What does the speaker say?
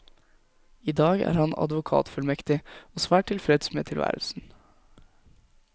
I dag er han advokatfullmektig, og svært tilfreds med tilværelsen.